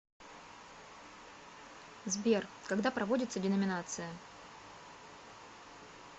сбер когда проводится деноминация